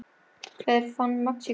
Hver fann Mexíkó?